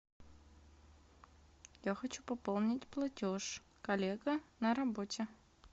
я хочу пополнить платеж коллега на работе